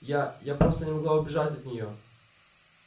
я я просто не могла убежать от неё